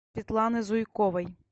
светланы зуйковой